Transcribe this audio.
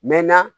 Mɛ na